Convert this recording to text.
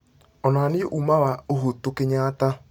onania ũũma wa uhutu kenyatta